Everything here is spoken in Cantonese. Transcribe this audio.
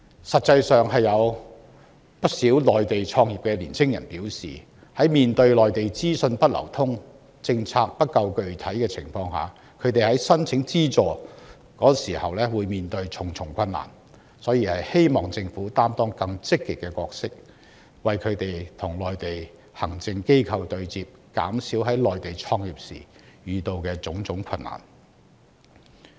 事實上，不少在內地創業的青年人表示，在內地資訊不流通、政策不夠具體的情況下，他們申請資助時困難重重，因而希望政府能夠擔當更積極的角色，為他們與內地行政機構對接，減少在內地創業時遇到的困難。